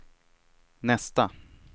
nästa